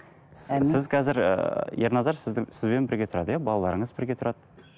сіз сіз қазір ііі ерназар сіздің сізбен бірге тұрады иә балаларыңыз бірге тұрады